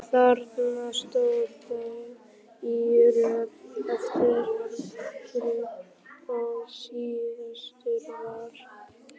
Þarna stóðu þau í röð eftir aldri og síðastur var